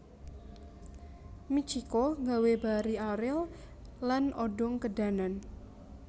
Mitchiko gawe Barry Ariel lan Odong kedanan